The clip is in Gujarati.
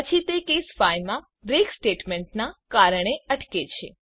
પછી તે કેસ 5 માં બ્રેક સ્ટેટમેન્ટના કારણે અટકે છે